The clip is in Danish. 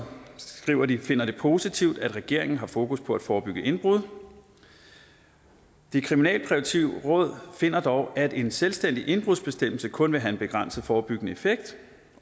skriver at de finder det positivt at regeringen har fokus på at forebygge indbrud det kriminalpræventive råd finder dog at en selvstændig indbrudsbestemmelse kun vil have en begrænset forebyggende effekt